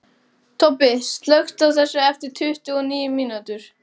Tobbi, slökktu á þessu eftir tuttugu og níu mínútur.